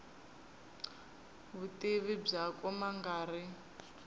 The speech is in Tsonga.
vutivi byakwe ma nga ri